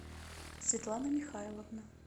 светлана михайловна